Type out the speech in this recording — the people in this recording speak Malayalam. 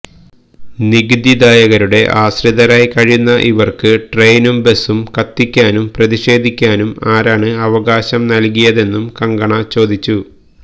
നികുതിദായകരുടെ ആശ്രിതരായി കഴിയുന്ന ഇവര്ക്ക് ട്രെയിനും ബസും കത്തിക്കാനും പ്രതിഷേധിക്കാനും ആരാണ് അവകാശം നല്കിയതെന്നും കങ്കണ ചോദിച്ചു